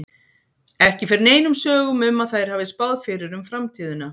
Ekki fer neinum sögum um að þær hafi spáð fyrir um framtíðina.